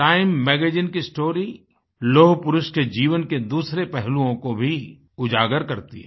time magazine की story लौह पुरुष के जीवन के दूसरे पहलुओं को भी उजागर करती है